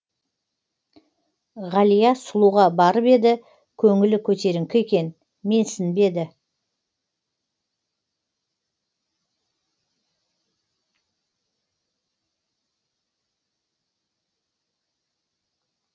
ғалия сұлуға барып еді көңілі көтеріңкі екен менсінбеді